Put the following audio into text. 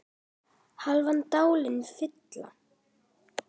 hálfan dalinn fylla